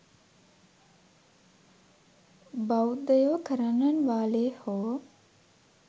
බෞද්ධයෝ කරන්නන් වාලේ හෝ